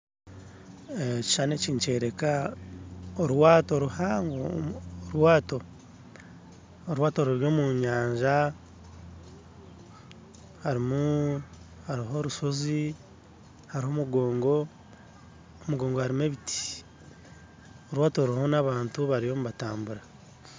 Ekishushani eki nikyereka orwato ruhango, omu orwato orwato ruri omu nyanja harimuu hariho orushozi hariho omugongo omugongo harimu ebiti, orwato ruriho nabantu bariyo nibatambura